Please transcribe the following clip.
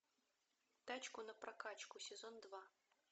тачку на прокачку сезон два